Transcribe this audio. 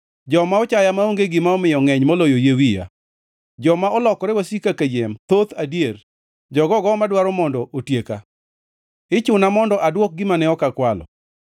Joma ochaya maonge gima omiyo ngʼeny moloyo yie wiya; joma olokore wasika kayiem thoth adier, jogogo madwaro mondo otieka. Ichuna mondo adwok gima ne ok akwalo.